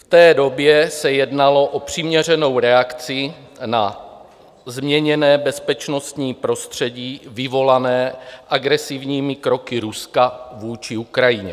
V té době se jednalo o přiměřenou reakci na změněné bezpečnostní prostředí vyvolané agresivními kroky Ruska vůči Ukrajině.